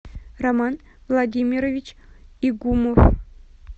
роман владимирович игумов